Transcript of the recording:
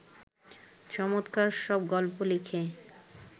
চমৎকার সব গল্প লিখে